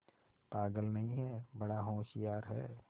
पागल नहीं हैं बड़ा होशियार है